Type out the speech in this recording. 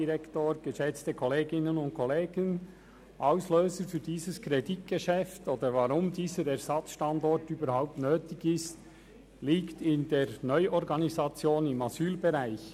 Der Grund für die Notwendigkeit dieses Ersatzstandorts und damit Auslöser für dieses Kreditgeschäft ist die Neuorganisation im Asylbereich.